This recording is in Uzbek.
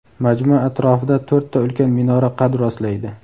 Majmua atrofida to‘rtta ulkan minora qad rostlaydi.